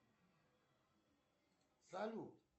салют